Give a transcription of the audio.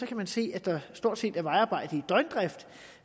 kan vi se at der stort set er vejarbejde i døgndrift